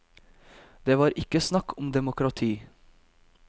Det var ikke snakk om demokrati.